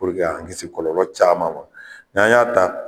k'an kisi kɔlɔ caman ma n'an y'a ta.